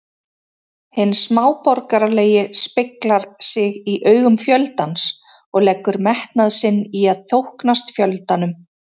Hinn smáborgaralegi speglar sig í augum fjöldans og leggur metnað sinn í að þóknast fjöldanum.